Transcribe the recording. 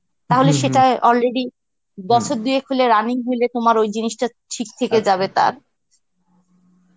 তাহলে সেটা already বছর দুয়েক হলো রানিং হইলে তোমার ওই জিনিসটা ঠিক থেকে যাবে তার